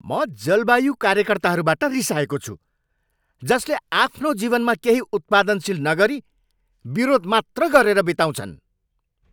म जलवायु कार्यकर्ताहरूबाट रिसाएको छु जसले आफ्नो जीवनमा केही उत्पादनशील नगरी विरोध मात्र गरेर बिताउँछन्।